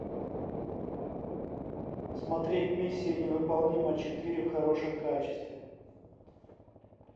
смотреть миссия невыполнима четыре в хорошем качестве